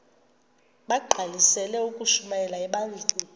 bagqalisele ukushumayela ebandleni